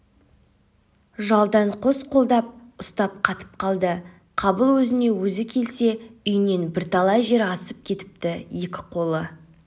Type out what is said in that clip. жалдан қос қолдап ұстап қатып қалды қабыл өзіне-өзі келсе үйінен бірталай жер асып кетіпті екі қолы